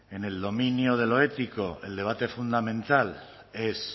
en el dominio de lo ético el debate fundamental es